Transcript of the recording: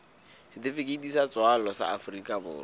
setifikeiti sa tswalo sa afrika